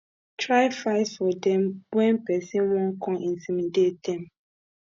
try fight for dem wen pesin wan con intimidate dem